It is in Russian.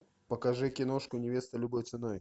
покажи киношку невеста любой ценой